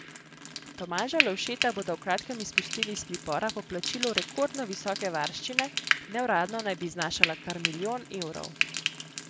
Tomaža Lovšeta bodo v kratkem izpustili iz pripora po plačilu rekordno visoke varščine, neuradno naj bi znašala kar milijon evrov.